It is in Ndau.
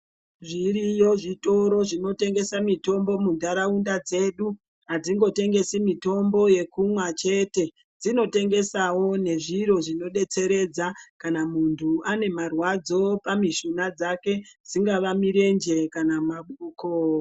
Zviriyo zvitoro zvinotengese mitombo muntaraunda dzedu. Adzingotengesi mitombo yekumwa chete dzinotengesawo nezviro zvinodetseredza kana muntu ane marwadzo pamishuna dzake dzingave mirenje kana maoko.